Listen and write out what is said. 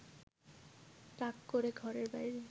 রাগ করে ঘরের বাইরে